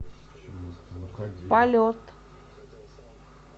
полет